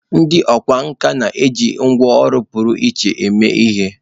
Ndị ọkwá nkà na-eji ngwá ọrụ pụrụ iche eme ihe.